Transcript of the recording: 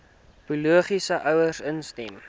biologiese ouers instem